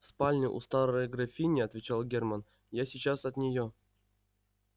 в спальне у старой графини отвечал германн я сейчас от нее